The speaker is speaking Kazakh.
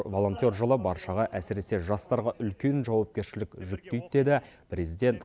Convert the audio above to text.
волонтер жылы баршаға әсіресе жастарға үлкен жауапкершілік жүктейді деді президент